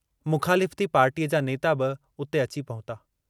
मुख़ालिफती पार्टीअ जा नेता बि उते अची पहुता।